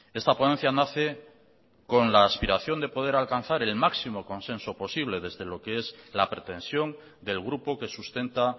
esta ponencia nace con la aspiración de poder alcanzar el máximo consenso posible desde lo que es la pretensión del grupo que sustenta